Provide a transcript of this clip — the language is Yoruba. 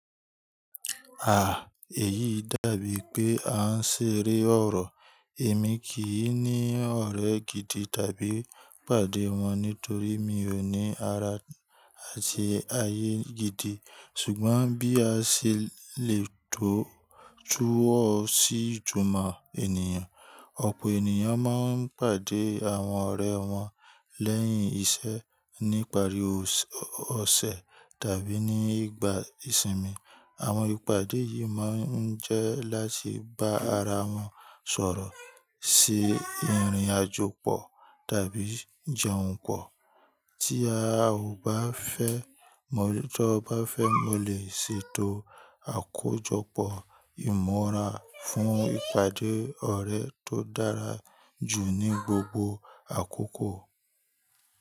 À, èyí dàbí pé a ń ṣeré ọ̀rọ̀. Èmi kì í ní ọ̀rẹ́ gidi tàbí pàdé wọn nítorí mi ò ní ara àti ayé gidi. Ṣùgbọ́n bí a ṣe lè tọ́ túwọ́ sí ìjọ̀ma ènìyàn, ọ̀pọ̀ ènìyàn máa ń pàdé àwọn ọ̀rẹ́ wọn lẹ́yìn iṣẹ́ ní ìparí ọ̀sẹ̀ tàbí ní ìgbà ìsinmi. Àwọn ìpàdé yìí máa ń jẹ́ láti bá ara wọn sọ̀rọ̀ sí ìrìnàjò pọ̀ tàbí jẹun pọ̀. Tí a ò bá fẹ́, mo lè tó bá fẹ́, mo lè ṣètò àkójọpọ̀ ìmọ̀ra fún ìpàdé ọ̀rẹ́ tó dára jù ní gbogbo àkókò.